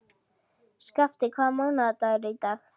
Skafti, hvaða mánaðardagur er í dag?